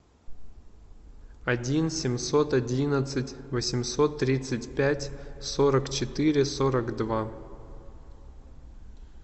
один семьсот одиннадцать восемьсот тридцать пять сорок четыре сорок два